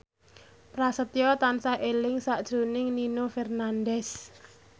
Prasetyo tansah eling sakjroning Nino Fernandez